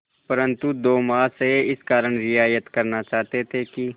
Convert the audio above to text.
परंतु दो महाशय इस कारण रियायत करना चाहते थे कि